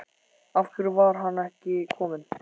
Af hverju var hann ekki kominn?